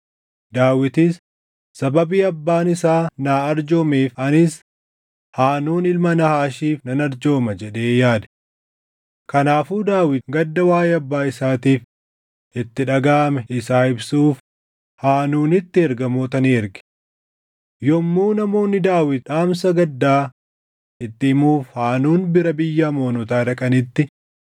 Daawitis, “Sababii abbaan isaa naa arjoomeef anis Haanuun ilma Naahaashiif nan arjooma” jedhee yaade. Kanaafuu Daawit gadda waaʼee abbaa isaatiif itti dhagaʼame isaa ibsuuf Haanuunitti ergamoota ni erge. Yommuu namoonni Daawit dhaamsa gaddaa itti himuuf Haanuun bira biyya Amoonotaa dhaqanitti,